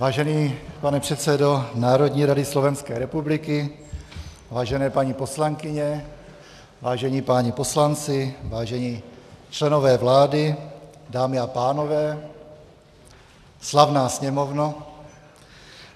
Vážený pane předsedo Národní rady Slovenské republiky, vážené paní poslankyně, vážení páni poslanci, vážení členové vlády, dámy a pánové, slavná Sněmovno.